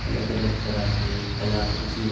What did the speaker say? अलग अलग तरह के कलाकृति ब --